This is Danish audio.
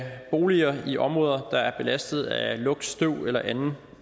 boliger i områder der er belastet af lugt støv eller anden